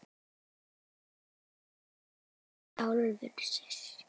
Eimur af sjálfri sér.